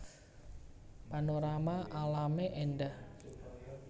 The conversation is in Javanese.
Panorama alamé éndah